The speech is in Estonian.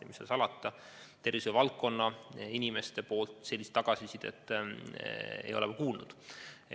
Ja mis seal salata, tervishoiuvaldkonna inimestelt sellist tagasisidet ei ole ma kuulnud.